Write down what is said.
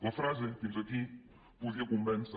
la frase fins aquí podia convèncer